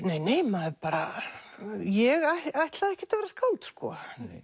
nei nei maður bara ég ætlaði ekkert að vera skáld sko